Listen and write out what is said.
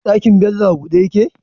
Ɗakin Bello a buɗe yake?